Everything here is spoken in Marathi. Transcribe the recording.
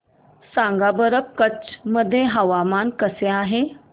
सांगा बरं कच्छ मध्ये हवामान कसे आहे